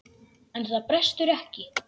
En það brestur ekki.